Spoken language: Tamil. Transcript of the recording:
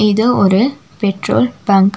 இது ஒரு பெட்ரோல் பங்க் .